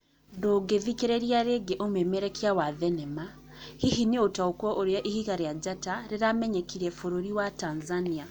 Ndũngithikĩria rĩngĩ ũmemerekia wa thenema, Hihi nĩũtaũkwo ũrĩa ihiga rĩa njata kĩramenyekire bũrũri wa Tanzania.